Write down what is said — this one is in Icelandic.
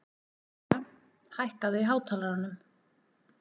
Brynja, hækkaðu í hátalaranum.